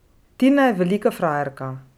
Tina je velika frajerka.